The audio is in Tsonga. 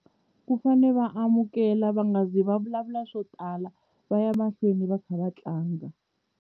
Ku fane va amukela va nga zi va vulavula swo tala va ya mahlweni va kha va tlanga.